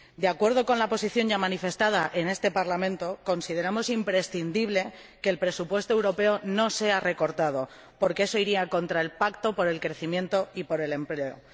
De acuerdo con la posición ya manifestada en este Parlamento, consideramos imprescindible que el presupuesto europeo no sea recortado, porque eso iría contra el Pacto por el Crecimiento y el Empleo.